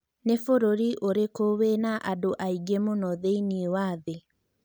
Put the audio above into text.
nĩ bũrũri ũrĩkũ wĩna andũ aĩge mũno thĩnĩ wa thĩ